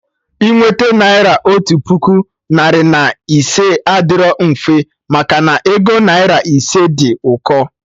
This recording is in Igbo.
Inweta naira otu puku, narị na ise adịrọ mfe, maka na ego naira ise dị ụkọ